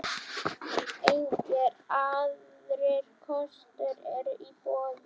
Engir aðrir kostur eru í boði.